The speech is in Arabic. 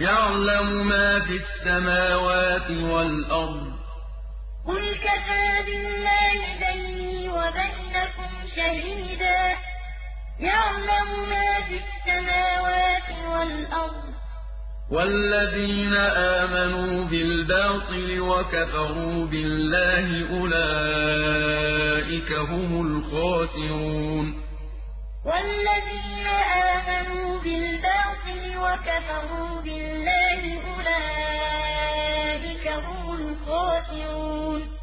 يَعْلَمُ مَا فِي السَّمَاوَاتِ وَالْأَرْضِ ۗ وَالَّذِينَ آمَنُوا بِالْبَاطِلِ وَكَفَرُوا بِاللَّهِ أُولَٰئِكَ هُمُ الْخَاسِرُونَ قُلْ كَفَىٰ بِاللَّهِ بَيْنِي وَبَيْنَكُمْ شَهِيدًا ۖ يَعْلَمُ مَا فِي السَّمَاوَاتِ وَالْأَرْضِ ۗ وَالَّذِينَ آمَنُوا بِالْبَاطِلِ وَكَفَرُوا بِاللَّهِ أُولَٰئِكَ هُمُ الْخَاسِرُونَ